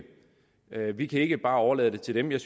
vi kan ikke bare overlade det til dem jeg